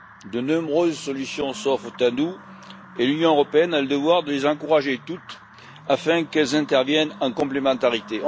De nombreuses solutions s'offrent à nous et l'Union européenne a le devoir de les encourager toutes, afin qu'elles interviennent en complémentarité.